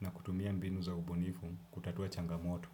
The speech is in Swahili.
na kutumia mbinu za ubunifu kutatua changamoto.